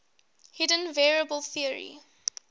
hidden variable theory